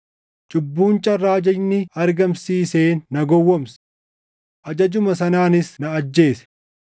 Cubbuun carraa ajajni argamsiiseen na gowwoomse; ajajuma sanaanis na ajjeese.